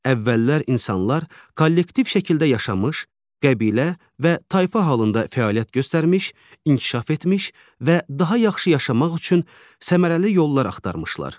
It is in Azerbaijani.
Əvvəllər insanlar kollektiv şəkildə yaşamış, qəbilə və tayfa halında fəaliyyət göstərmiş, inkişaf etmiş və daha yaxşı yaşamaq üçün səmərəli yollar axtarmışlar.